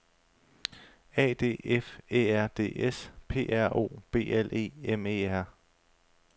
A D F Æ R D S P R O B L E M E R